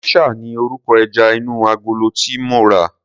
Geisha ni orúkọ ẹja inú agolo tí mo rà.